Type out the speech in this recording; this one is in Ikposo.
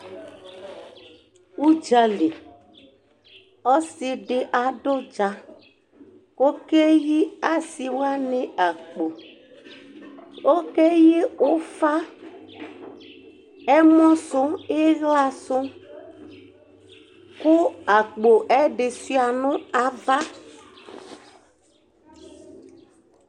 Uɖzàli: ɔsiɖi aɖu uɖzà Ku oke yi asiwani akpó Oke yi ufã, ɛlɔ su, iɣla su Ku akpó ɛdi shua nu ãvã